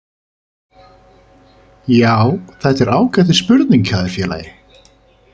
Já þetta er ágætis spurning hjá þér félagi.